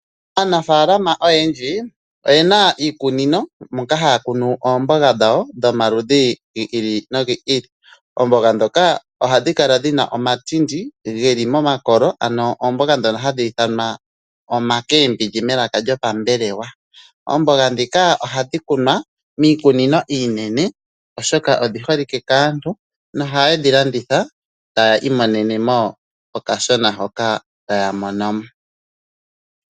Aanafalama oyendji oyena iikunino moka haya kunu oomboga dhawo dhomaludhi gi ili nogi ili. Oomboga dhoka ohadhi kala dhina omatindi geli komakolo, ano oomboga djono jadhi thanwa omakembindji melaka lyo pambelewa. Oomboga dhika ohadhi kunwa miikunino iinene oshoka oshi holike kaantu mohaye dhi landitha e taya imonenemo olasona hoka taya monomo.